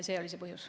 See oli see põhjus.